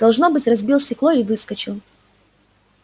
должно быть разбил стекло и выскочил